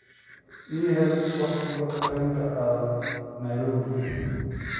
ii hel wakhtiga tareenka aad nairobi